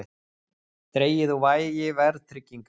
Dregið úr vægi verðtryggingar